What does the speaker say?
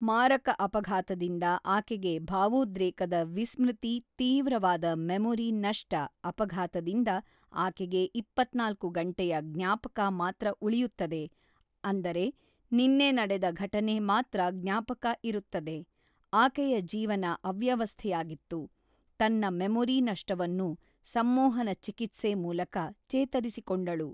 ಮಾರಕ ಅಪಫಾತದಿಂದ ಆಕೆಗೆ ಭಾವೋದ್ರೇಕದ ವಿಸ್ಮೃತಿ ತೀವ್ರವಾದ ಮೆಮೊರಿ ನಷ್ಟ ಅಪಘಾತದಿಂದ ಆಕೆಗೆ ಇಪ್ಪತ್ತ್ನಾಲ್ಕು ಗಂಟೆಯ ಜ್ಞಾಪಕ ಮಾತ್ರ ಉಳಿಯುತದೆ ಅಂದರೆ ನಿನ್ನೆ ನಡೆದ ಘಟನೆ ಮಾತ್ರ ಜ್ಞಾಪಕ ಇರುತ್ತದೆ ಅಕೆಯ ಜೀವನ ಅವ್ಯವಸ್ಥೆಯಾಗಿತ್ತು ತನ್ನ ಮೆಮೊರಿ ನಷ್ಟವನ್ನು ಸಂಮೊಹನ ಚಿಕಿತ್ಸೆ ಮೂಲಕ ಚೇತರಿಸಿಕೊಂಡಳು.